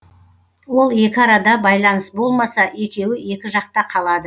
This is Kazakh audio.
ол екі арада байланыс болмаса екеуі екі жақта қалады